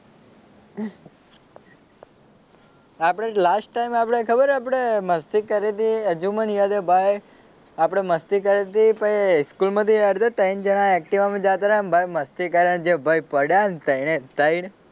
આપણે last time આપડે ખબર આપડે મસ્તી કરી તી હજુ મને યાદ છે ભાઈ આપડે મસ્તી કરી તી પછી સ્કૂલમાંથી ત્રણ જણાં ઍક્ટિવામાં જતાં ને ભાઈ મસ્તી કરી ને ભાઈ જે પડ્યા ને ત્રણે ત્રણ